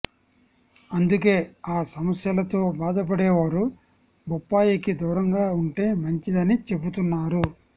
అందుకే ఆ సమస్యలతో బాధపడేవారు బొప్పాయికి దూరంగా ఉంటే మంచిదని చెబుతున్నారు